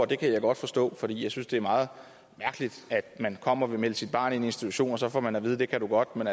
det kan jeg godt forstå jeg synes det er meget mærkeligt at man kommer og vil melde sit barn ind i en institution og så får man at vide det kan du godt men